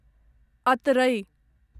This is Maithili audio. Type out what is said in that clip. अतरै